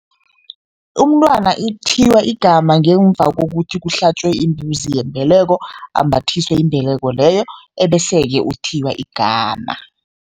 Umntwana ithiywa igama ngemva kokuthi kuhlatjwe imbuzi yembeleko, ambathiswe imbeleko leyo ebese-ke uthiywa igama.